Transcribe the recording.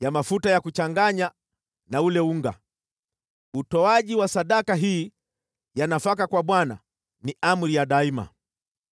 ya mafuta ya kuchanganya na ule unga. Utoaji wa sadaka hii ya nafaka kwa Bwana ni amri ya daima.